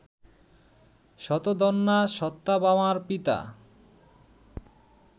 শতধন্বা সত্যভামার পিতা